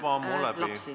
... peredes on rohkem lapsi.